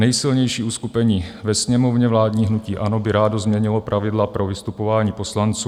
Nejsilnější uskupení ve Sněmovně, vládní hnutí ANO, by rádo změnilo pravidla pro vystupování poslanců.